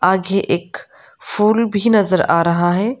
आगे एक फूल भी नजर आ रहा है।